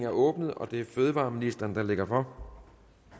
åbnet og det er fødevareministeren der lægger for